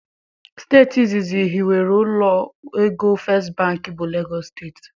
Steeti izizi hiwere ụlọ égo First bank bụ Lagos Steeti.